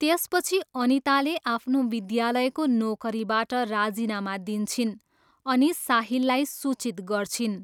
त्यसपछि अनिताले आफ्नो विद्यालयको नोकरीबाट राजीनामा दिन्छिन् अनि साहिललाई सूचित गर्छिन्।